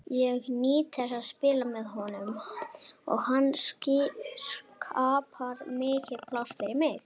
Ég nýt þess að spila með honum og hann skapar mikið pláss fyrir mig.